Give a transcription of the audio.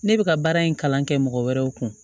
Ne bɛ ka baara in kalan kɛ mɔgɔ wɛrɛw kun